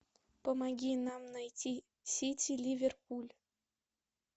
помоги нам найти сити ливерпуль